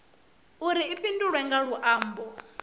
uri i fhindulwe nga luambo